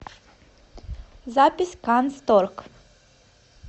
запись канцторг